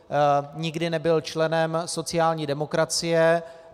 Nikdy nebyl členem sociální demokracie.